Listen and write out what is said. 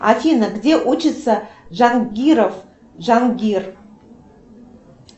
афина где учится джангиров джангир